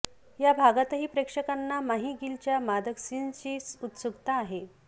या भागातही प्रेक्षकांना माही गिलच्या मादक सीन्सची उत्सुक्ता आहे